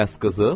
Bəs qızıl?